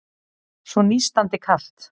Svo nístandi kalt.